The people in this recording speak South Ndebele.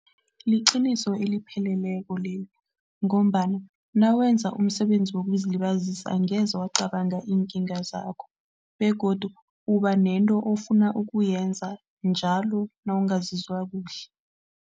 Liqiniso elipheleleko leli ngombana nawenza umsebenzi wokuzilibazisa, angeze bacabanga iinkinga zakho begodu ubanento ofuna ukuyenza njalo nawungazizwa kuhle.